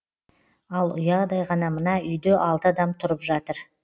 ал ұядай ғана мына үйде алты адам тұрып жатыр